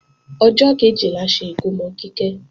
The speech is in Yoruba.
Ọjọ́ kẹ̀jẹ la ṣe ikómò Kíkẹ́